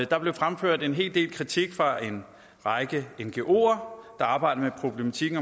der blev fremført en hel del kritik fra en række ngoer der arbejder med problematikken